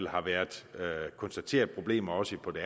har været konstateret problemer også på det